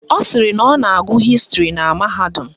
Ọ sịrị na ọ na-agụ Hịstịrị na mahadum